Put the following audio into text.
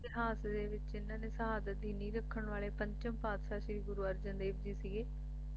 ਇਤਿਹਾਸ ਦੇ ਵਿਚ ਇਨ੍ਹਾਂ ਦੀ ਸ਼ਹਾਦਤ ਦੀ ਨੀਂਹ ਰੱਖਣ ਵਾਲੇ ਪੰਚਮ ਪਾਤਸ਼ਾਹ ਸ਼੍ਰੀ ਗੁਰੂ ਅਰਜਨ ਦੇਵ ਜੀ ਸੀਗੇ